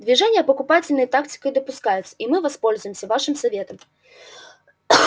движения подкупательные тактикою допускаются и мы воспользуемся вашим советом